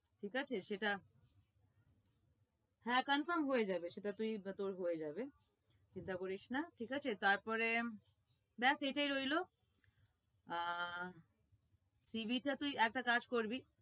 ঠিক আছে সেটা হ্যাঁ confirm হয়ে যাবে, সেটা তুই তোর হয়ে যাবে, চিন্তা করিস না ঠিক আছে? তারপরে ব্যাস এইটাই রইলো আহ CV টা তুই একটা কাজ করবি,